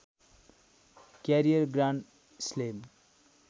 career grand slam